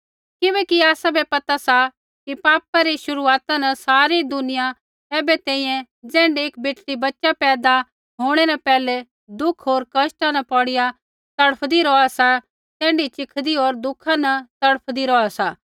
किबैकि आसाबै पता सा कि पापा रै शुरूआती न सारी दुनिया ऐबै तैंईंयैं ज़ैण्ढै एक बेटड़ी बच्च़ा पैदा होंणै न पैहलै दुःख होर कष्टा न पोड़ीया तड़फदी रौहा सा तैण्ढै चिखदी होर दुःखा न तड़फदी रौहा सा